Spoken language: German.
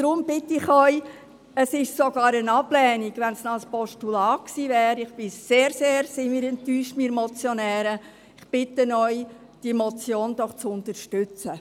Deshalb bitte ich Sie – es wäre sogar eine Ablehnung, wenn es ein Postulat wäre, und wir Motionäre sind sehr, sehr enttäuscht darüber –, deshalb bitte ich Sie, diese Motion doch zu unterstützen.